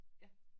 Ja